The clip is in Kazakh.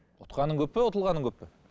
ұтқаның көп пе ұтылғаның көп пе